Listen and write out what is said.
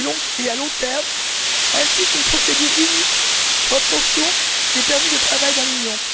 et à long termes, ainsi qu'une procédure unique pour l'obtention des permis de travail dans l'Union.